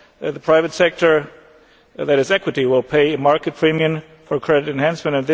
The private sector that has equity will pay a market premium for credit enhancement.